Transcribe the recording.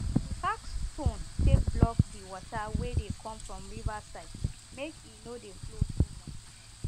we pack stone take block dey water wey dey come from river side make e no dey flow too much